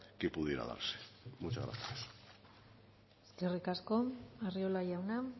que pudiera darse muchas gracias eskerrik asko arriola jauna